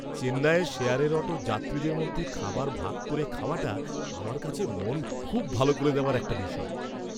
চেন্নাইয়ের শেয়ারের অটোর যাত্রীদের মধ্যে খাবার ভাগ করে খাওয়াটা আমার কাছে মন খুব ভালো করে দেওয়া একটা বিষয়।